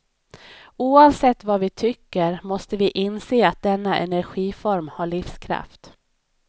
Oavsett vad vi tycker, måste vi inse att denna energiform har livskraft.